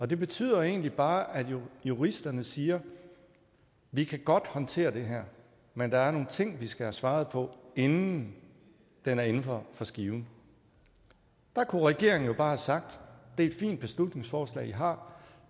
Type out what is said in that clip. det betyder egentlig bare at juristerne siger vi kan godt håndtere det her men der er nogle ting vi skal have svaret på inden den er inden for skiven der kunne regeringen jo bare have sagt det er et fint beslutningsforslag i har